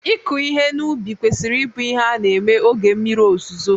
ịkụ ihe n'ubi kwesịrị ịbụ ihe a na-eme oge mmiri ozuzo